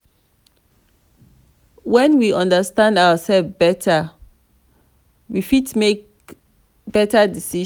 when we understand ourselves better we fit make better decisions